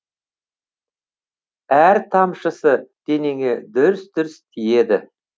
әр тамшысы денеңе дүрс дүрс тиеді